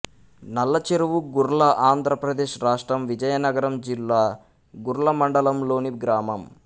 నల్లచెరువు గుర్ల ఆంధ్ర ప్రదేశ్ రాష్ట్రం విజయనగరం జిల్లా గుర్ల మండలంలోని గ్రామం